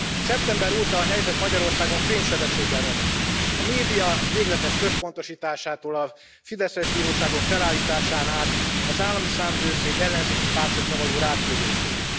Szeptember óta a helyzet Magyarországon fénysebességgel romlott. A média végletes központosításától a fideszes bíróságok felállításán át az Állami Számvevőszék ellenzéki pártokra való ráküldéséig.